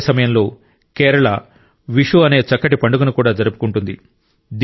అదే సమయంలో కేరళ విషు అనే చక్కటి పండుగను కూడా జరుపుకుంటుంది